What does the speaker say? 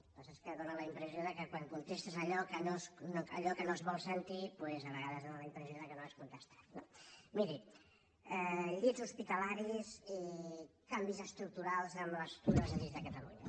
el que passa és que fa la impressió que quan contestes allò que no es vol sentir a vegades fa la impressió que no has contestat no miri llits hospitalaris i canvis estructurals en els llits a catalunya